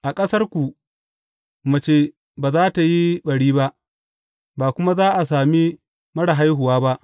A ƙasarku, mace ba za tă yi ɓari ba, ba kuma za a sami marar haihuwa ba.